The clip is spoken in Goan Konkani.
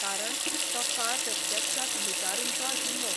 कारण तो काळ प्रत्यक्षांत लुटारूंचो आशिल्लो.